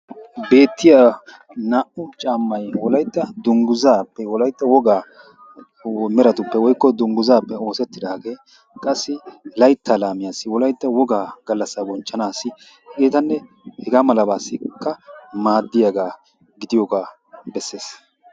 Beettiya naa'u caamay wolaytta dungguzappe wolaytta wogaa meratuppe woykko dungguzappe oosetidage qassi laytta laamiyasi wolaytta wogaa gallasa bonchchanasi h.h.malabasika maadiyaba gidiyooga beses.